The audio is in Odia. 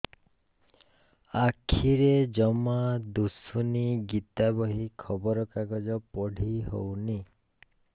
ଆଖିରେ ଜମା ଦୁଶୁନି ଗୀତା ବହି ଖବର କାଗଜ ପଢି ହଉନି